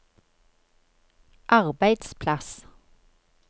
arbeidsplass